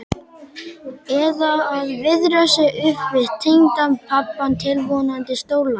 Eða að viðra sig upp við tengdapabbann tilvonandi, stórlaxinn.